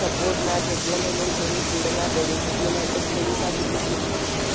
support नाही भेटला म्हणून त्यांनी पुढं नाही बढु शकले नाही तर